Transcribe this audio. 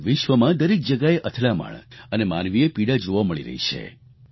આજે વિશ્વમાં દરેક જગ્યાએ અથડામણ અને માનવીય પીડા જોવા મળી રહી છે